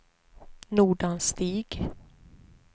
Nordanstig